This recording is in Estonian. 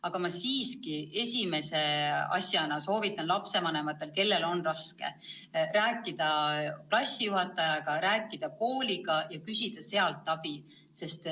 Aga ma siiski esimese asjana soovitan lapsevanematel, kellel on raske, rääkida klassijuhatajaga, rääkida kooliga ja küsida sealt abi.